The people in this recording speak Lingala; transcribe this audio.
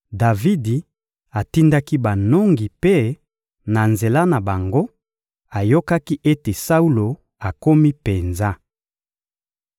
Davidi atindaki banongi mpe, na nzela na bango, ayokaki ete Saulo akomi penza.